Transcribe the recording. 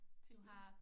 Til jul